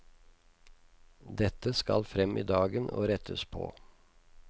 Dette skal frem i dagen og rettes på.